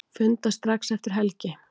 Funda strax eftir helgi